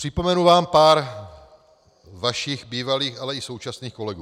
Připomenu vám pár vašich bývalých, ale i současných kolegů.